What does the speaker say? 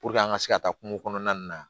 Puruke an ka se ka taa kungo kɔnɔna nin na